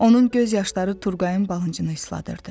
Onun göz yaşları Turqayın balıncını isladırdı.